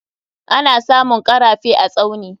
Ana samun karafe a Tsauni.